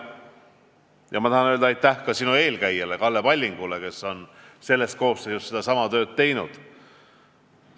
Ja ma tahan öelda aitäh ka sinu eelkäijale Kalle Pallingule, kes on selles parlamendikoosseisus sedasama tööd teinud.